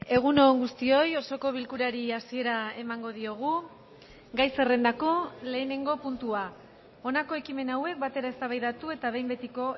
egun on guztioi osoko bilkurari hasiera emango diogu gai zerrendako lehenengo puntua honako ekimen hauek batera eztabaidatu eta behin betiko